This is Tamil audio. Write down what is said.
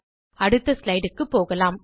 அடுத்த slideக்கு போகலாம்